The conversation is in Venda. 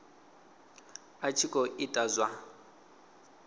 a tshi khou ita zwa